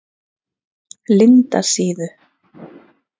Lindasíðu